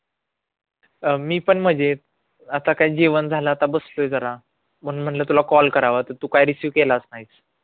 अं मी पण मजेत आता काय जेवण झालं आता बसलोय जरा म्हणून म्हणलं तुला call करावा तर तू काय receive केलाच नाही